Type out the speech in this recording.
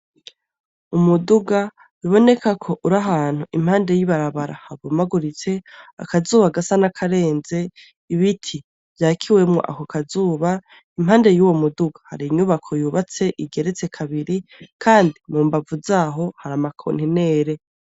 Umuduga ubonekako uri ahantu impande y'ibarabara ribomaguritse akazuba gasa n'akarenze ibiti vyakiwemwo ako kazuba impande yuwo muduga hari inyubako yubatse igeretse kabiri kandi mumbavu z'aho hari ama kontinere .